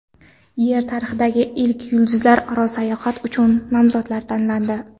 Yer tarixidagi ilk yulduzlararo sayohat uchun nomzodlar tanlandi.